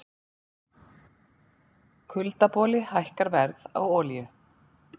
Kuldaboli hækkar verð á olíu